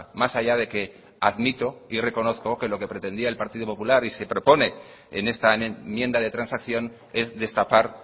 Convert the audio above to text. más allá de que admito y reconozco que lo que pretendía el partido popular y se propone en esta enmienda de transacción es destapar